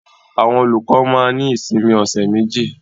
Àwọn olùkọ́ máa ní ìsinmi ọ̀ṣẹ̀ méjì.